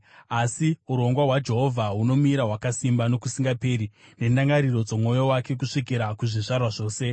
Asi urongwa hwaJehovha hunomira hwakasimba nokusingaperi, nendangariro dzomwoyo wake kusvikira kuzvizvarwa zvose.